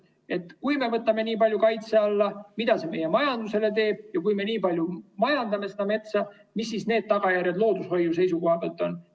Et kui me võtame nii palju kaitse alla, siis mida see meie majandusele teeb, ja kui me nii palju metsa majandame, mis siis need tagajärjed loodushoiu seisukohalt on.